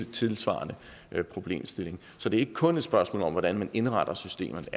tilsvarende problemstilling så det er ikke kun et spørgsmål om hvordan man indretter systemet